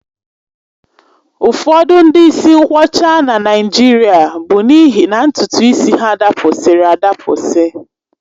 Ụfọdụ ndị isi nkwọcha na Naịjirịa bụ n'ihi na ntutu isi ha dapụsiri adapụsi